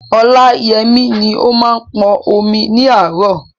Ọláyẹmí ni ó máa ń pọn omi ní àárọ̀.